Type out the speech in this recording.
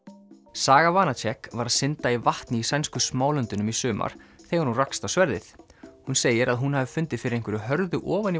saga var að synda í vatni í sænsku Smálöndunum í sumar þegar hún rakst á sverðið hún segir að hún hafi fundið fyrir einhverju hörðu ofan í